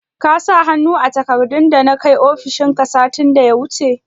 Ka sa hannu a takardun dana kai ofishin ka, satin da ya wuce?